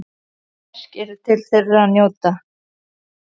Verk eru til að njóta.